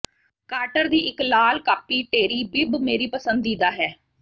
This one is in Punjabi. ਕਾਰਟਰ ਦੀ ਇਕ ਲਾਲ ਕਾਪੀ ਟੇਰੀ ਬਿੱਬ ਮੇਰੀ ਪਸੰਦੀਦਾ ਹੈ